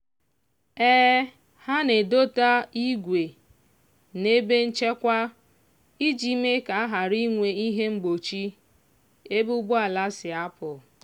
ha na-edota igwe n'ebe nchekwa iji mee ka a ghara inwe ihe mgbochi ebe ụgbọala si apụ